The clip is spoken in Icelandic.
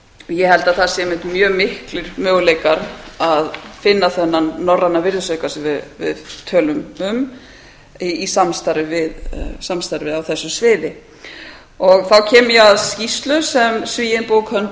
ég held að það sé einmitt miklir möguleikar að finna þennan norræna virðisauka sem við tölum um í samstarfið á þessu sviði þá kem ég að skýrslu sem svíinn bo thunberg